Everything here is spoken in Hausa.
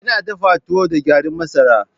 Ina dafa tuwo na da garin masara.